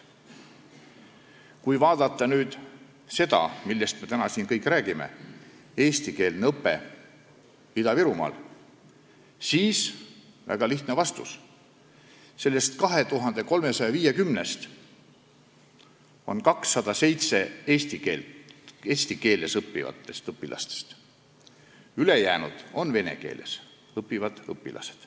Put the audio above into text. Kui vaadata seda, millest me täna siin kõik räägime – eestikeelne õpe Ida-Virumaal –, siis väga lihtne vastus on see, et nendest 2350-st on 207 eesti keeles õppivad õpilased, ülejäänud on vene keeles õppivad õpilased.